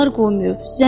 Uşaqlar qoymayıb.